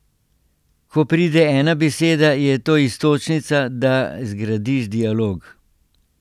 Ko pride ena beseda, je to iztočnica, da zgradiš dialog.